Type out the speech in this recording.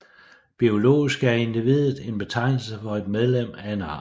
Biologisk er individet en betegnelse for et medlem af en art